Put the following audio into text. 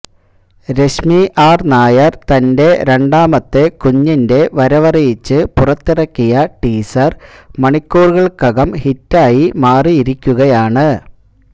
Rashmi R Nair തന്റെ രണ്ടാമത്തെ കുഞ്ഞിന്റെ വരവറിയിച്ച് പുറത്തിറക്കിയ ടീസര് മണിക്കൂറുകള്ക്കകം ഹിറ്റായി മാറിയിരിക്കുകയാണ്